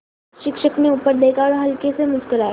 शिक्षक ने ऊपर देखा और हल्के से मुस्कराये